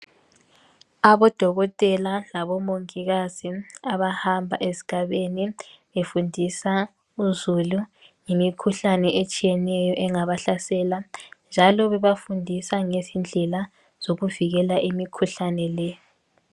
Abodokotela labomongikazi abahamba ezigabeni befundisa uzulu ngemikhuhlane etshiyeneyo engabahlasela njalo bebafundisa ngezindlela zokuvikela imikhuhlane le.